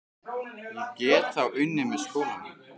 Ég get þá unnið með skólanum.